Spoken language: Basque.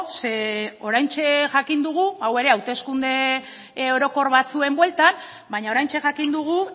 ze oraintxe jakin dugu hau ere hauteskunde orokor batzuen bueltan baina oraintxe jakin dugu